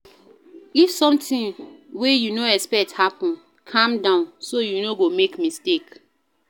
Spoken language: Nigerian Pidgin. If something wey you no expect happen, calm down so you no go make mistake